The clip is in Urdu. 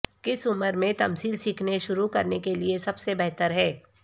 کس عمر میں تمثیل سیکھنے شروع کرنے کے لئے سب سے بہتر ہے